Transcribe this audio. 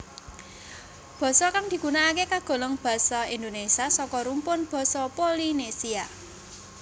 Basa kang digunakake kagolong basa Indonesia saka rumpun basa Polinesia